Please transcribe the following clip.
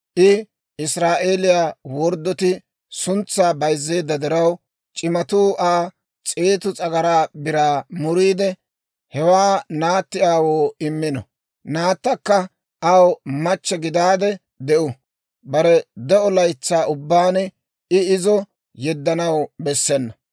I Israa'eeliyaa wodoratti suntsaa bayzzeedda diraw, c'imatuu Aa s'eetu s'agaraa biraa muriide, hewaa naatti aawoo immino. Naattakka aw machche gidaade de'u; bare de'o laytsaa ubbaan I izo yeddanaw bessena.